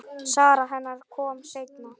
Sara hennar kom seinna.